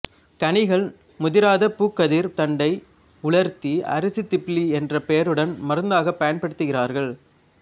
கனிகள் முதிராத பூக்கதிர்த் தண்டை உலர்த்தி அரிசித் திப்பிலி என்ற பெயருடன் மருந்தாகப் பயன்படுத்துகிறார்கள்